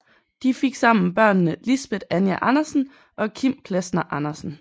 De fik sammen børnene Lisbet Anja Andersen og Kim Plesner Andersen